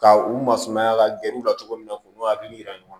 Ka u masumaya ka gɛrɛ u la cogo min na u n'u hakili yira ɲɔgɔn na